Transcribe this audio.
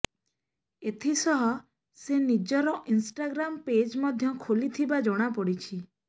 ଏଥିସହ ସେ ନିଜର ଇନ୍ଷ୍ଟାଗ୍ରାମ୍ ପେଜ୍ ମଧ୍ୟ ଖୋଲିଥିବା ଜଣାପଡ଼ିଛି